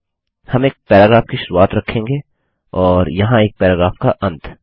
हम एक पैराग्राफ की शुरुआत रखेंगे और यहाँ एक पैराग्राफ का अंत